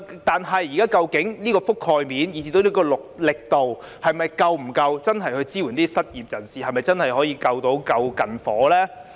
但是，現時的覆蓋面以至力度是否足夠真正支援失業人士，是否真的可以"救近火"呢？